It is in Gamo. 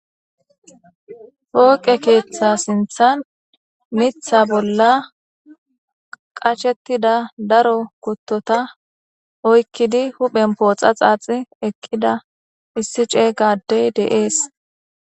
Fooqe keeththa sinthan mitha bolla qashettida daro kuttota oykkidi huphen pooxa xaaxi eqqida issi ceey gaaddey deees.